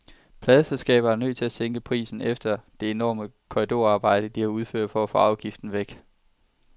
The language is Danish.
Pladeselskaberne er nødt til at sænke prisen efter det enorme korridorarbejde, de har udført for at få afgiften væk.